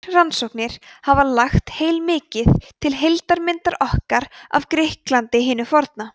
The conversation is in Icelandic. þær rannsóknir hafa lagt heilmikið til heildarmyndar okkar af grikklandi hinu forna